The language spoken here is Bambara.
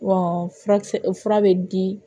Wa furakisɛ fura bɛ di